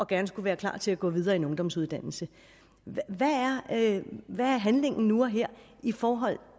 gerne skulle være klar til at gå videre i en ungdomsuddannelse hvad er handlingen nu og her i forhold